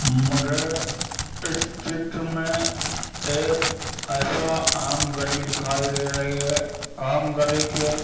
मुझे इस चित्र में एक ऐसा आम गली दिखाई दे रही है आम गली के --